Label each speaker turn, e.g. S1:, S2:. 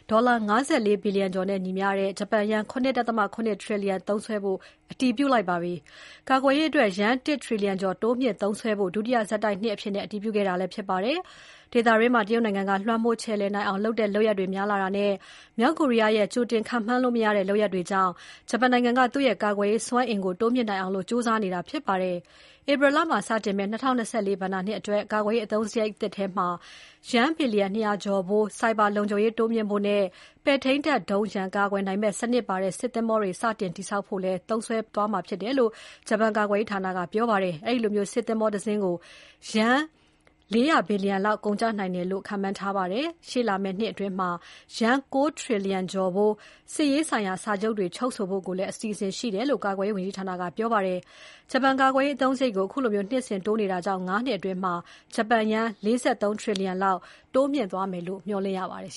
S1: ဒေါ်လာ ၅၄ ဘီလျံကျော်နဲ့ညီမျှတဲ့ ဂျပန်ယန်း ၇.၇ ထရီလျံသုံးစွဲမယ့် ကာကွယ်ရေးအသုံးစရိတ်ကို အတည်ပြုလိုက်ပါတယ်။ ကာကွယ်ရေးအတွက် ယန်း ၁ ထရီလျံကျော် တိုးမြှင့်သုံးစွဲဖို့ ဒုတိယဆက်တိုက်နှစ်အဖြစ် အတည်ပြုခဲ့တာဖြစ်ပါတယ်။ ဒေသတွင်းမှာ တရုတ်နိုင်ငံက လွှမ်းမိုးခြယ်လှယ်နိုင်အောင်လုပ်တဲ့လုပ်ရပ်တွေ များလာတာနဲ့ မြောက်ကိုရီးယားရဲ့ ကြိုတင်ခန့်မှန်းလို့မရတဲ့ လုပ်ရပ်တွေကြောင့် ဂျပန်နိုင်ငံက သူ့ရဲ့ကာကွယ်ရေးစွမ်းအင်ကို တိုးမြှင့်နိုင်အောင် ကြိုးစားနေတာဖြစ်ပါတယ်။ ဧပြီလမှာစတင်မယ့် ၂၀၂၄ ဘဏ္ဍာနှစ်အတွက် ကာကွယ်ရေးအသုံးစရိတ်သစ်ထဲမှာ ယန်း ဘီလျံ ၂၀၀ ကျော်ဖိုး ဆိုင်ဘာလုံခြုံရေးတိုးမြှင့်ဖို့နဲ့ ပဲ့ထိန်းတပ်ဒုံးရန်ကာကွယ်နိုင်မယ့် စနစ်ပါတဲ့ စစ်သင်္ဘောတွေ စတင်တည်ဆောက်ဖို့သုံးစွဲဖို့ပါဝင်တယ်လို့ ဂျပန်ကာကွယ်ရေးဌာနက ပြောပါတယ်။ အဲဒီလိုစစ်သင်္ဘောတစင်းကို ယန်း ၄၀၀ ဘီလျံ လောက် ကုန်ကျနိုင်တယ်လို့ခန့်မှန်းထားပါတယ်။ ရှေ့လာမယ့်နှစ်အတွင်း ယန်း ၉ ထရီလျံကျော်ဖိုး စစ်ရေးဆိုင်ရာ စာချုပ်တွေ ချုပ်ဆိုဖို့လည်း အစီအစဉ်ရှိတယ်လို့ ကာကွယ်ရေးဝန်ကြီးဌာနက ပြောပါတယ်။ ဂျပန်ကာကွယ်ရေးအသုံးစရိတ်ကို အခုလို နှစ်စဉ်တိုးနေတာကြောင့် ၅ နှစ်အတွင်း ဂျပန်ယန်း ၄၃ ထရီလျံလောက် တိုးမြှင့်သွားမယ်လို့ မျှော်လင့်ရပါတယ်